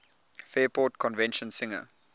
fairport convention singer